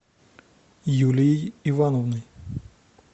юлией ивановной